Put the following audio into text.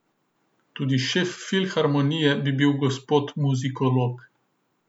Tudi šef filharmonije bi bil gospod muzikolog.